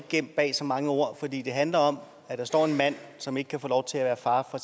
gemt bag så mange ord for det handler om at der står en mand som ikke kan få lov til at være far for